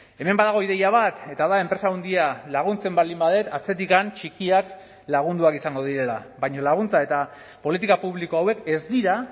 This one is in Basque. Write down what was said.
hemen badago ideia bat eta da enpresa handia laguntzen baldin badut atzetik txikiak lagunduak izango direla baina laguntza eta politika publiko hauek ez dira